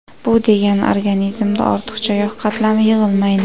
Bu degani, organizmda ortiqcha yog‘ qatlami yig‘ilmaydi.